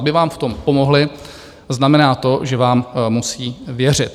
Aby vám v tom pomohli, znamená to, že vám musejí věřit.